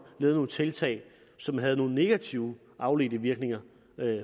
lavet nogle tiltag som havde nogle negative afledte virkninger